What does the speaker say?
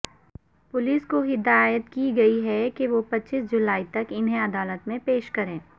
police کو ہدایت کی ہے کہ وہ پچیس جولائی تک انہیں عدالت میں پیش کریں